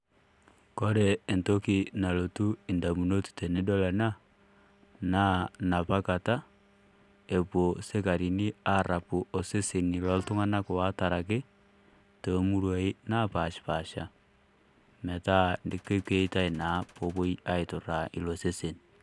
Kore entoki nalotu indamunot tenidol ena, naanapakata ewuo isikarini arapu oseseni oltung'ana oataraki, toomuruai napaashipaasha, metaa kewoitai naa peewoi aiturra ilo sesen.